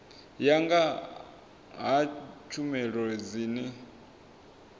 ya nga ha tshumelo dzine